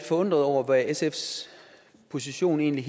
forundret over hvad sfs position egentlig